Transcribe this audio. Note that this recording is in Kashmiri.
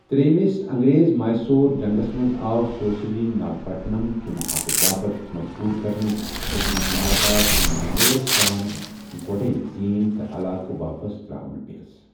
ترٛیمِس انگریز میسور جنگس منٛزآو سوٗسری ناگپٹنم كہِ محادٕ باپت مجبوُر كرنہٕ ، یَتھ منٛز مالابار تہٕ منگلورس سان گۄڈے زین،ٕٕتہِ علاقہٕ واپس تراوٕنہِ پیس ۔